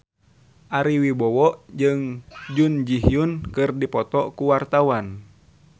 Ari Wibowo jeung Jun Ji Hyun keur dipoto ku wartawan